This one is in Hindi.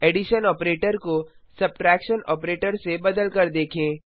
एडिशन ऑपरेटर को सब्ट्रैक्शन ऑपरेटर से बदल कर देखें